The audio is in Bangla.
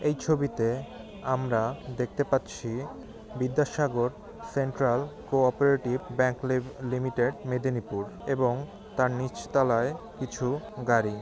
এই ছবিতে আমরা দেখতে পাচ্ছি বিদ্যাসাগর সেন্ট্রাল কো-অপারেটিভ ব্যাঙ্ক লি লিমিটেড মেদিনীপুর এবং তার নিচ তলায় কিছু গাড়ি।